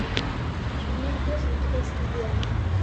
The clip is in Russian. обмен песо на китайские юани